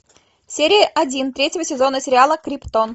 серия один третьего сезона сериала криптон